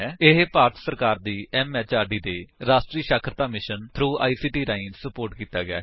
ਇਹ ਭਾਰਤ ਸਰਕਾਰ ਦੀ ਐਮਐਚਆਰਡੀ ਦੇ ਰਾਸ਼ਟਰੀ ਸਾਖਰਤਾ ਮਿਸ਼ਨ ਥ੍ਰੋ ਆਈਸੀਟੀ ਰਾਹੀਂ ਸੁਪੋਰਟ ਕੀਤਾ ਗਿਆ ਹੈ